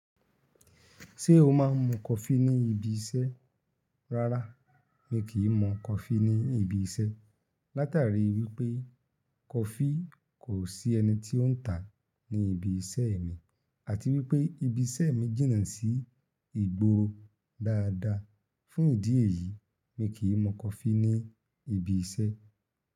Ṣé o máa ń mu kọfí ní ibi iṣẹ́? Rárá, mi kì í mu coffee ní ibi iṣẹ́. Látàrí wípé kọfí kò sí ẹni tí ó ń tà ní ibi iṣẹ́ mi àti wípé ibi iṣẹ́ mi jìnnà sí ìgboro dáadáa. Fún ìdí èyí, mi kì í mu kọfí ní ibi iṣẹ́.